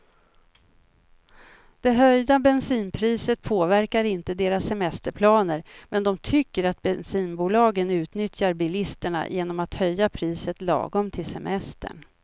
Det höjda bensinpriset påverkar inte deras semesterplaner, men de tycker att bensinbolagen utnyttjar bilisterna genom att höja priset lagom till semestern.